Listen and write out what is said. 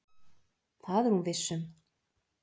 Það er hún viss um.